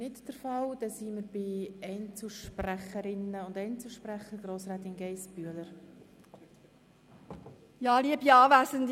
Wir gelangen somit zu den Einzelsprechenden, und ich gebe Grossrätin Geissbühler-Strupler das Wort.